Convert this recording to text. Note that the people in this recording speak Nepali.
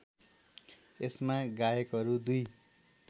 यसमा गायकहरू २